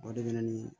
O de bɛ na ni